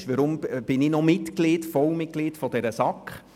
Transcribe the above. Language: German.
Man fragte sich, weshalb ich noch Vollmitglied der SAK sei.